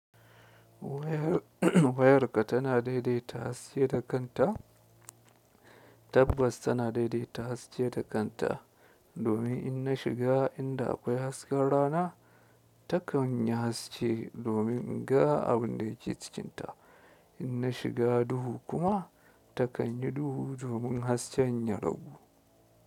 Wayarka tana daidaita haske da kanta. Tabbas tana daidaita haske da kanta, domin in na shiga inda akwai hasken rana, takan yi haske domin in ga abin da yake cikinta, in na shiga duhu kuma takan yi duhu domin hasken ya ragu.